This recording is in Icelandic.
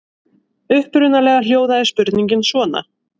Upprunalega hljóðaði spurningin svona: